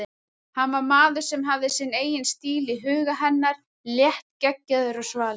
Hann var maður sem hafði sinn eigin stíl í huga hennar, léttgeggjaður og svalur.